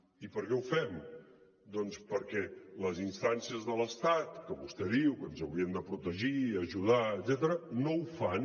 i per què ho fem doncs perquè les instàncies de l’estat que vostè diu que ens haurien de protegir i ajudar etcètera no ho fan